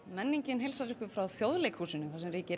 menningin heilsar ykkur frá Þjóðleikhúsinu þar sem ríkir